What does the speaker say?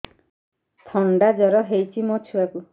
ଥଣ୍ଡା ଜର ହେଇଚି ମୋ ଛୁଆକୁ